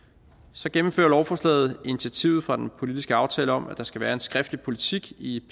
så gennemfører lovforslaget initiativet fra den politiske aftale om at der skal være en skriftlig politik i